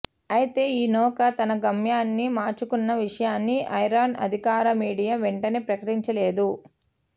అయితే ఈ నౌక తన గమ్యాన్ని మార్చుకున్న విషయాన్ని ఇరాన్ అధికార మీడియా వెంటనే ప్రకటించలేదు